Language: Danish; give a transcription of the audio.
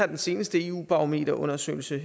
den seneste eu barometerundersøgelse